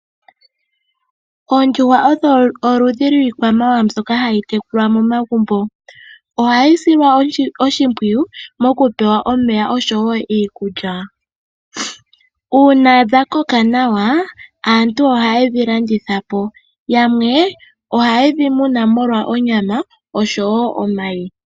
Oondjuhwa odho oludhi lwiikwamawa mbyoka hayi tekulwa momagumbo. Ohadhi silwa oshimpwiyu moku pewa omeya oshowo iikulya. Una dha koka nawa aantu ohaye dhi landitha po, yamwe ohaye dhi muna molwa onyama oshowo omayi.